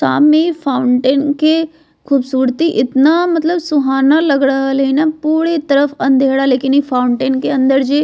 सामने फाउंटेन के खूबसूरती इतना मतलब सुहाना लग रहले हेय ने पूरे तरफ अँधेरा लेकिन इ फाउंटेन के अंदर ही --